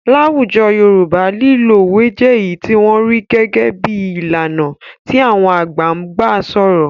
Láwùjọ Yorùbá lílo òwe jẹ́ èyí tí wọ́n rí gẹ́gẹ́ bí i ìlànà tí àwọn àgbà ń gbà sọ̀rọ̀.